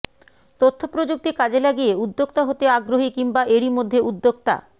তথ্যপ্রযুক্তি কাজে লাগিয়ে উদ্যোক্তা হতে আগ্রহী কিংবা এরই মধ্যে উদ্যোক্তা